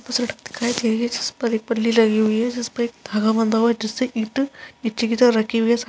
सड़क दिखाई दे रही है जिस पर एक पल्ली लगी हुई है जिस पे एक धागा बंधा हुआ है जिस से ईंट निच्चे की तरफ़ रखी हुई है इस --